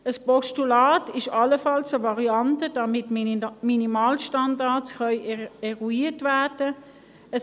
Ein Postulat ist allenfalls eine Variante, damit Minimalstandards eruiert werden können.